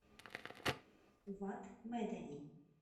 вад медани